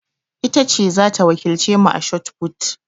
Ita ce za ta wakilce mu a shotput.